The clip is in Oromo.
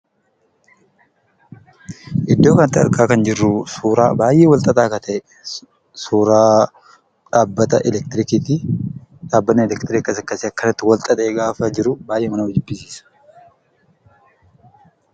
Iddoo kanatti argaa kan jirru, suuraa baay'ee wal xaxaa ta'ee, suuraa dhabbata Elektiriikiiti. Dhabbanni Elektiriikii akkas akkasi wal xaxee gaafa jiru baay'eema nama jibbisiisa.